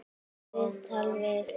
Viðtal við